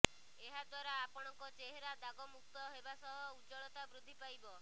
ଏହାଦ୍ୱାରା ଆପଣଙ୍କ ଚେହେରା ଦାଗମୁକ୍ତ ହେବା ସହ ଉଜ୍ୱଳତା ବୃଦ୍ଧି ପାଇବ